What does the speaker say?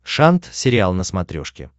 шант сериал на смотрешке